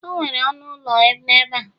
o nwere ọnụ ụlọ n'ebe a